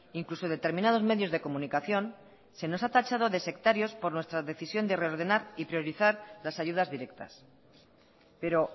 incluso determinados medios de comunicación se nos ha tachado de sectarios por nuestra decisión de reordenar y priorizar las ayudas directas pero